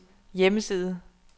hjemmeside